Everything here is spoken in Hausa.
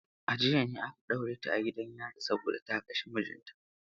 A jiya ne aka ɗaure ta a gidan yari saboda ta kashe mijinta.